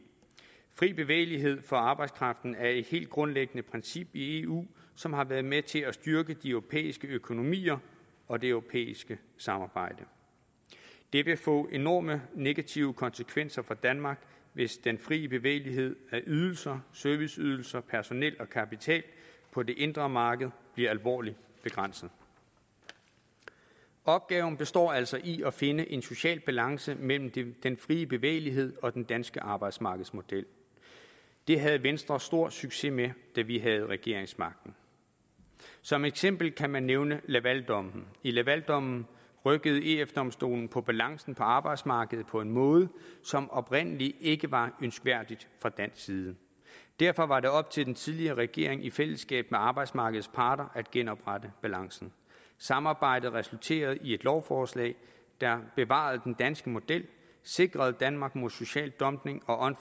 fri bevægelighed for arbejdskraften er et helt grundlæggende princip i eu som har været med til at styrke de europæiske økonomier og det europæiske samarbejde det vil få enorme negative konsekvenser for danmark hvis den fri bevægelighed af ydelser serviceydelser personer og kapital på det indre marked bliver alvorligt begrænset opgaven består altså i at finde en social balance mellem den frie bevægelighed og den danske arbejdsmarkedsmodel det havde venstre stor succes med da vi havde regeringsmagten som eksempel kan man nævne lavaldommen i lavaldommen rykkede ef domstolen på balancen på arbejdsmarkedet på en måde som oprindelig ikke var ønskværdig fra dansk side derfor var det op til den tidligere regering i fællesskab med arbejdsmarkedets parter at genoprette balancen samarbejdet resulterede i et lovforslag der bevarer den danske model sikrer danmark mod social dumping og